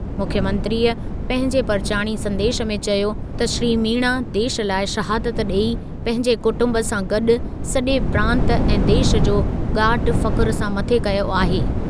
मुख्यमंत्रीअ पंहिंजे परिचाणी संदेस में चयो त श्री मीणा देशु लाइ शहादत ॾेई पंहिंजे कुटुंब सां गॾु सॼे प्रांत ऐं देशु जो ॻाट फ़ख़्र सां मथे कयो आहे।